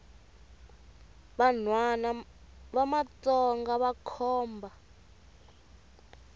vanhwana va matsonga vakhomba